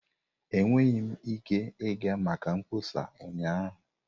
Enweghị m ike ịga maka mkpọsa ụnyaahụ.